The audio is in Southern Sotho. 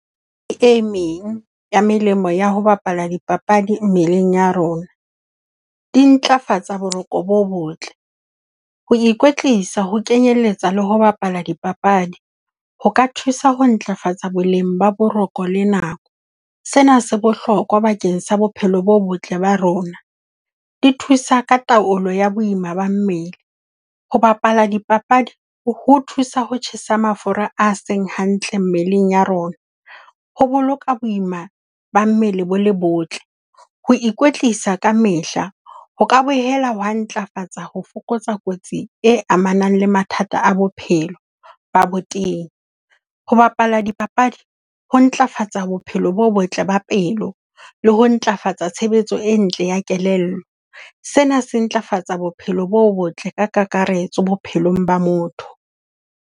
E meng ya melemo ya ho bapala dipapadi mmeleng ya rona, di ntlafatsa boroko bo botle. Ho ikwetlisa, ho kenyeletsa le ho bapala dipapadi ho ka thusa ho ntlafatsa boleng ba boroko le nako. Sena se bohlokwa bakeng sa bophelo bo botle ba rona. Di thusa ka taolo ya boima ba mmele. Ho bapala dipapadi ho thusa ho tjhesa mafura a seng hantle mmeleng ya rona. Ho boloka boima ba mmele bo le botle. Ho ikwetlisa kamehla ho ka boela wa ntlafatsa ho fokotsa kotsi e amanang le mathata a bophelo ba botenya. Ho bapala dipapadi ho ntlafatsa bophelo bo botle ba pelo, le ho ntlafatsa tshebetso e ntle ya kelello. Sena se ntlafatsa bophelo bo botle ka kakaretso bophelong ba motho.